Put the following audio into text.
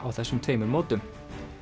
á þessum tveimur mótum